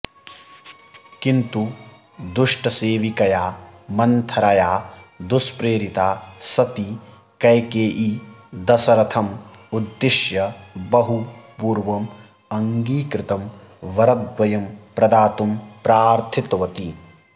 किन्तु दुष्टसेविकया मन्थरया दुष्प्रेरिता सती कैकेयी दशरथम् उद्दिश्य बहु पूर्वम् अङ्गीकृतं वरद्वयं प्रदातुं प्रार्थितवती